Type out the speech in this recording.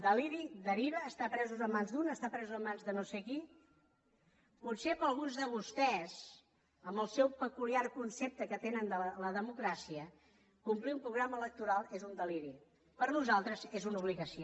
deliri deriva estar presos en mans d’uns estar presos en mans de no sé qui potser per alguns de vostès amb el seu peculiar concepte que tenen de la democràcia complir un programa electoral és un deliri per nosaltres és una obligació